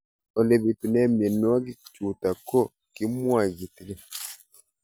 Ole pitune mionwek chutok ko kimwau kitig'�n